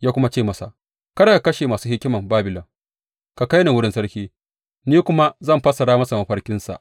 ya kuma ce masa, Kada ka kashe masu hikiman Babilon ka kai ni wurin sarki, ni kuma zan fassara masa mafarkinsa.